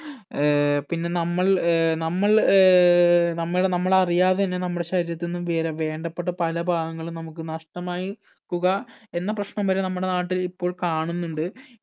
ഏർ പിന്നെ നമ്മൾ ഏർ നമ്മൾ ഏർ നമ്മടെ നമ്മളറിയാതെ തന്നെ നമ്മടെ ശരീരത്തു നിന്നും വേര വേണ്ടപ്പെട്ട പല ഭാഗങ്ങളും നമുക്ക് നഷ്ടമായി കുക എന്ന പ്രശ്നം വരെ നമ്മുടെ നാട്ടിൽ ഇപ്പോൾ കാണുന്നുണ്ട്